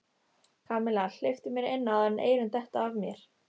Kamilla, hleyptu mér inn áður en eyrun detta af mér